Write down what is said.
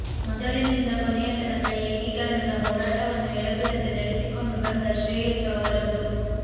ಮೊದಲಿನಿಂದ ಕೊನೆಯತನಕ ಏಕೀಕರಣದ ಹೋರಾಟವನ್ನು ಎಡೆಬಿಡದೆ ನಡೆಸಿಕೊಂಡು ಬಂದ ಶ್ರೇಯಸ್ಸು ಅವರದು